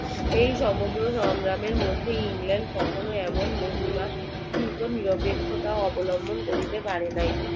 এই সমগ্র সংগ্রামের মধ্যে england এর কখনোই এমন মহিমা উরুফে নিরপেক্ষতা অবলম্বন করিতে পারে নাই